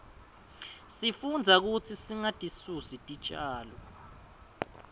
sifundza kutsi singatisusi titjalo